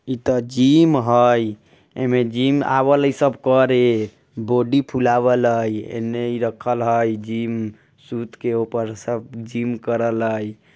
इता जीम हई। एमे जीम आवल सब करे बॉडी फुलावला ने रखल हई। जीम सूट के ऊपर सब जीम करल हई।